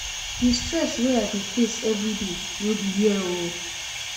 Di stress wey I dey face everyday no be hear o.